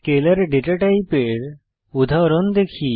scalar data টাইপের উদাহরণ দেখি